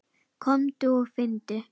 Komdu og finndu!